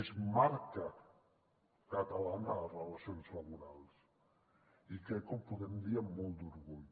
és marca catalana de les relacions laborals i crec que ho podem dir amb molt d’orgull